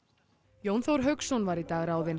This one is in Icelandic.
Jón Þór Hauksson var í dag ráðinn